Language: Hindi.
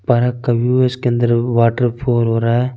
परा का वो है उसके अन्दर वाटर फॉर हो रहा है।